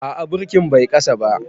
A'a birki Bai kasa ba.